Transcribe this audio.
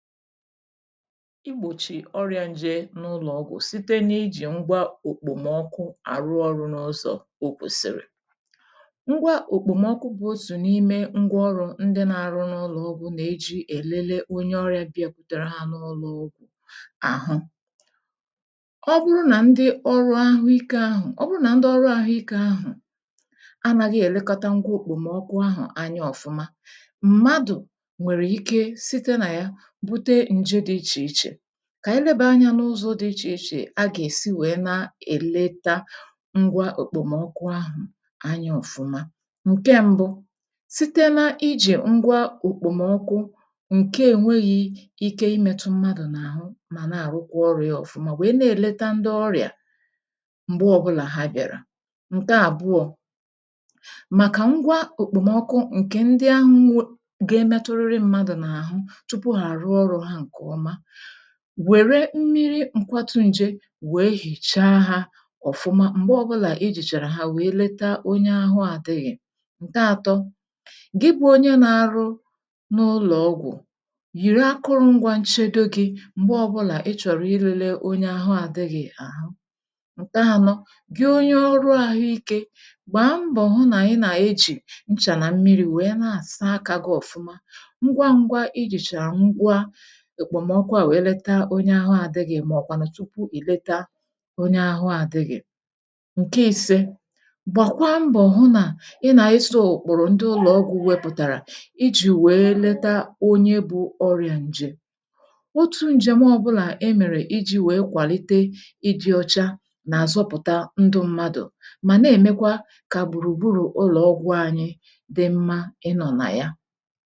igbòchi ọrịȧ nje n’ụlọ̀ ọgwụ̀ site n’ijì ngwa òkpòmọkụ àrụ ọrụ̇ n’ụzọ̇ òkwùsìrì ngwa òkpòmọkụ bụ̇ ozì n’ime ngwọ̇ ọrụ ndị na-arụ n’ụlọ̀ ọgwụ̇ nà-eji èlele onye ọrịȧ bị̇akwutere ha n’ụlọ̇ ọgwụ̀ àhụ ọ bụrụ na ndị ọrụ ahụ ikė ahụ̀ ọ bụrụ nà ndị ọrụ àhụ ikė ahụ̀ a nàghị èlekọta ngwa òkpòmọkụ ahụ̀ anya ọ̀fụ̀ma kà ànyị lebàa anyȧ n’ụzọ̇ dị ichè ichè a gà-èsi wèe na-èlete ngwa òkpòmọkụ ahụ̀ anya ọ̀fụma ǹke mbụ sitela ijì ngwa òkpòmọkụ ǹke ènweghị ike imetu mmadụ̀ n’àhụ mà na-àrụkwa ọrụ̇ ya ọ̀fụma wèe na-eleta ndị ọrịà m̀gbe ọbụlà ha bịàrà ǹke àbụọ̇ màkà ngwa òkpòmọkụ ǹkè ndị ahụ nwe ga-emetụrị mmadụ̀ n’àhụ wère mmiri nkwatù nje wee hìchaa ha ọ̀fụma m̀gbe ọbụlà ijìchàrà ha wee leta onye ahụ àdịghị̀ ǹke àtọ gị bụ onye na-arụ n’ụlọ̀ ọgwụ̀ yìrì akụrụ ngwȧ nchedo gị m̀gbe ọbụlà ị chọ̀rọ̀ irili onye ahụ àdịghị̀ ahụ ǹke anọ gị onye ọrụ àhụike gbaa mbọ̀ hụ nà ị nà-ejì nchà nà mmiri̇ wee na-àsa akȧ gị ọ̀fụma ngwa ngwa ijìchàrà èkpòmọkwa wèe leta onye ahụ àdịghị̇ màọ̀kwànà tupu ì leta onye ahụ àdịghị̇ ǹke ise gbàkwa mbọ̀ hụ nà ị nà-ịsọ ùkpọ̀rọ̀ ndị ụlọ̀ ọgwụ̇ wepụ̀tàrà ijì wèe leta onye bụ̇ ọrị̇ȧ ǹje otu ǹjem ọbụlà e mèrè iji̇ wèe kwàlite iji̇ ọcha nà-àzọpụ̀ta ndị ṁmȧdụ̀ mà na-èmekwa kà gbùrùgburù ụlọ̀ ọgwụ̇ anyị dị mmȧ ịnọ̇ nà ya